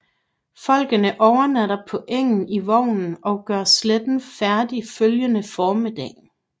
Folkene overnatter på engen i vognen og gør slætten færdig følgende formiddag